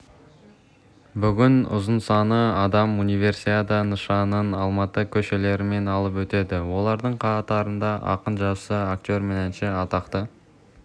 бүгін ұзынсаны адам универсиада нышанын алматы көшелерімен алып өтеді олардың қатарында ақын-жазушы актер мен әнші атақты